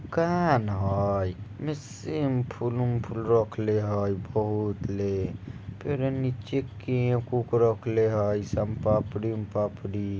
कान हैं मिसिम फुलुम फूल रख ले हैं बहोतले कुरानी चिक्की कुक रखले हैं सम पापड़ी उम पापड़ी।